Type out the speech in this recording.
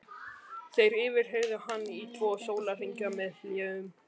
Þeir yfirheyrðu hann í tvo sólarhringa með hléum.